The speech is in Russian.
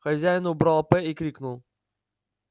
хозяин убрал п и крикнул